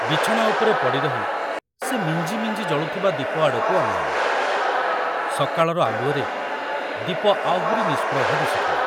ବିଛଣା ଉପରେ ପଡ଼ି ରହି ସେ ମିଞ୍ଜି ମିଞ୍ଜି ଜଳୁଥିବା ଦୀପ ଆଡ଼କୁ ଅନାଇଲେ, ସକାଳର ଆଲୁଅରେ ଦୀପ ଆହୁରି ନିଷ୍ପ୍ରଭ ଦିଶୁଥିଲା।